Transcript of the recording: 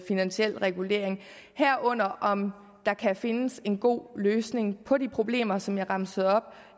finansiel regulering herunder om der kan findes en god løsning på de problemer som jeg remsede op